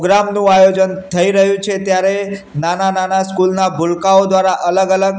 આયોજન થઈ રહ્યુ છે ત્યારે નાના નાના સ્કૂલ ના ગુલકાઓ દ્વારા અલગ અલગ--